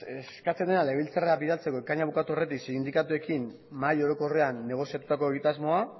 eskatzen dena legebiltzarrera bidaltzeko ekaina bukatu aurretik sindikatuekin mahai orokorrean negoziatutako egitasmoa